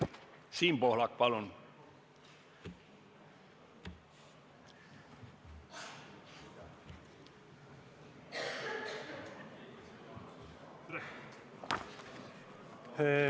Siim Pohlak, palun!